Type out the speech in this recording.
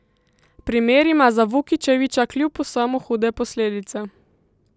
Primer ima za Vukičevića kljub vsemu hude posledice.